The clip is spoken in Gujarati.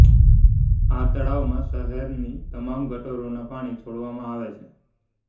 આ તળાવમાં શહેરની તમામ ગટરોના પાણી છોડવામાં આવે છે